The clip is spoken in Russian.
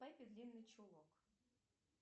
пеппи длинный чулок